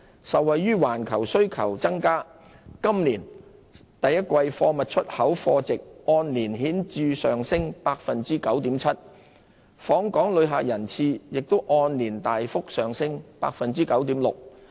受惠於環球需求增加，今年首季貨物出口貨值按年顯著上升 9.7%， 訪港旅客人次亦按年大幅上升 9.6%。